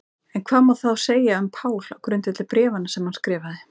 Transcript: En hvað má þá segja um Pál á grundvelli bréfanna sem hann skrifaði?